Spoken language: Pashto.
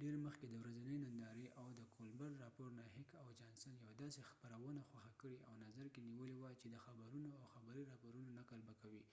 ډیر مخکې د ورځنۍ نندارې او د کولبرټ راپور نه هیک او جانسن heck and johnson یو داسې خپرونه خوښه کړي او نظر کې نیولی وه چې د خبرونو او خبری راپورونو نقل به کوي .